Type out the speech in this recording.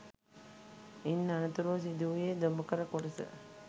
ඉන් අනතුරුව සිදුවූයේ දොඹකර කොටස